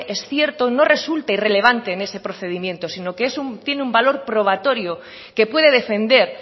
es cierto no resulte irrelevante en ese procedimiento sino que tiene un valor probatorio que puede defender